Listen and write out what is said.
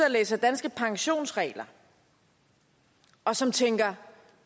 og læser danske pensionsregler og som tænker